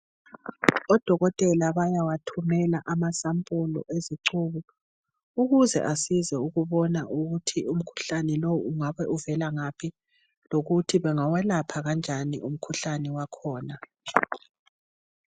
Odokotela bayawa thumela amasampulu ezicubu ukuze asize ukubona ukuthi umkhuhlane lowu ungabe uvela ngaphi lokuthi bengelapha kanjani umkhuhlane wakhona.